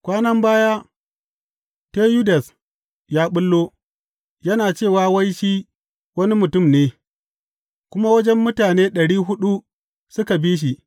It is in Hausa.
Kwanan baya, Teyudas ya ɓullo, yana cewa wai shi wani mutum ne, kuma wajen mutane ɗari huɗu suka bi shi.